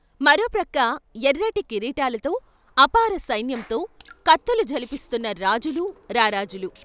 మరోప్రక్క ఎర్రటి కిరీటాలతో అపార సైన్యంతో కత్తులు ఝళిపిస్తున్న రాజులు, రారాజులు.